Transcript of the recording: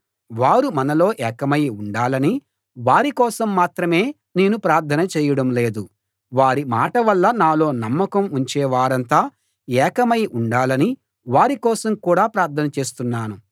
వారు మనలో ఏకమై ఉండాలని వారి కోసం మాత్రమే నేను ప్రార్థన చేయడం లేదు వారి మాటవల్ల నాలో నమ్మకం ఉంచే వారంతా ఏకమై ఉండాలని వారి కోసం కూడా ప్రార్థన చేస్తున్నాను